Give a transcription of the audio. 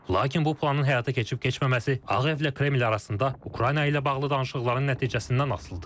Lakin bu planın həyata keçib-keçməməsi Ağ Evlə Kremlin arasında Ukrayna ilə bağlı danışıqların nəticəsindən asılıdır.